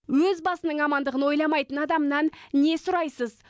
өз басының амандығын ойламайтын адамнан не сұрайсыз